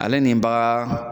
Ale nin bagan